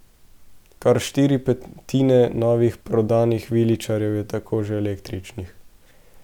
Kar štiri petine novih prodanih viličarjev je tako že električnih.